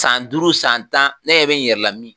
San duuru san tan ne ɲɛ me n yɛrɛ la mi